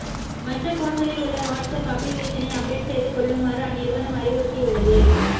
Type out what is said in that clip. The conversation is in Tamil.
மற்ற போன்களில் உள்ள வாட்ஸ் அப் அப்ளிகேசனை அப்டேட் செய்து கொள்ளுமாறு அந்நிறுவனம் அறிவுறுத்தியுள்ளது